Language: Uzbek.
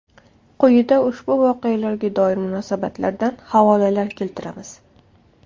Quyida ushbu voqealarga doir munosabatlardan havolalar keltiramiz.